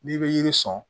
N'i bɛ yiri sɔn